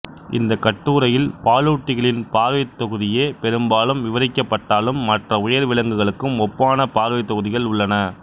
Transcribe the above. இந்தக் கட்டுரையில் பாலூட்டிகளின் பார்வைத்தொகுதியே பெரும்பாலும் விவரிக்கப்பட்டாலும் மற்ற உயர் விலங்குகளுக்கும் ஒப்பான பார்வைத்தொகுதிகள் உள்ளன